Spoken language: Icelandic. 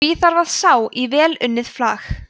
því þarf að sá í vel unnið flag